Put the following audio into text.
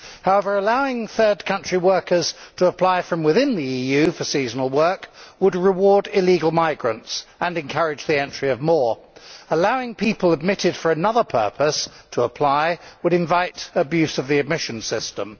However, allowing third country workers to apply from within the EU for seasonal work would reward illegal migrants and encourage the entry of more. Allowing people admitted for another purpose to apply would invite abuse of the admission system.